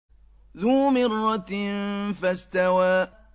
ذُو مِرَّةٍ فَاسْتَوَىٰ